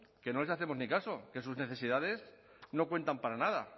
que no les hacemos ni caso que sus necesidades no cuentan para nada